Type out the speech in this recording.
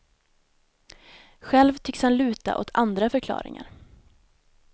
Själv tycks han luta åt andra förklaringar.